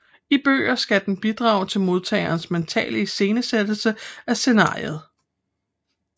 I bøger skal den bidrage til modtagerens mentale iscenesættelse af scenariet